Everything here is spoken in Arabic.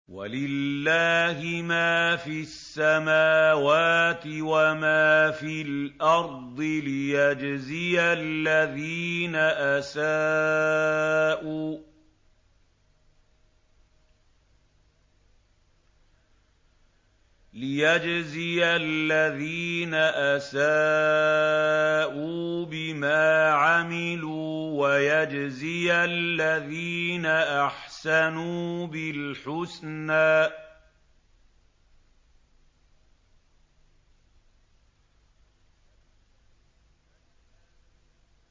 وَلِلَّهِ مَا فِي السَّمَاوَاتِ وَمَا فِي الْأَرْضِ لِيَجْزِيَ الَّذِينَ أَسَاءُوا بِمَا عَمِلُوا وَيَجْزِيَ الَّذِينَ أَحْسَنُوا بِالْحُسْنَى